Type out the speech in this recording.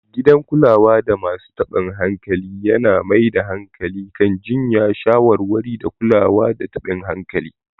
Gidan kulada masu taɓin hankali yana mai da hankali kan jiyya, shawarwari, da kula da taɓin hankali.